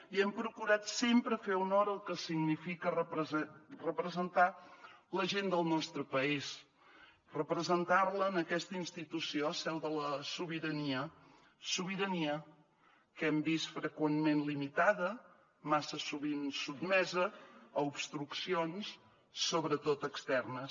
i hem procurat sempre fer honor al que significa representar la gent del nostre país representar la en aquesta institució seu de la sobirania sobirania que hem vist freqüentment limitada massa sovint sotmesa a obstruccions sobretot externes